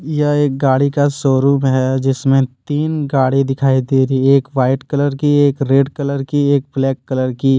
यह एक गाड़ी का शोरूम है जिसमें तीन गाड़ी दिखाई दे रही है एक वाइट कलर की एक रेड कलर की एक ब्लैक कलर की।